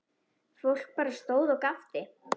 Fólk bara stóð og gapti.